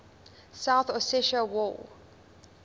south ossetia war